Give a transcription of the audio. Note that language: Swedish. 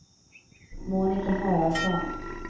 Monika Haraldsson